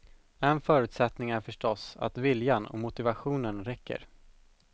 En förutsättning är förstås att viljan och motivationenen räcker.